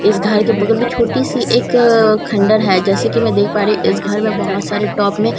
इस घर के बगल में छोटी सी एक अ खंडहर है जैसे कि मैं देख पा रही हूं इस घर में बहुत सारे टॉप में पौधे --